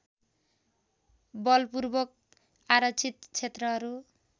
बलपूर्वक आरक्षित क्षेत्रहरू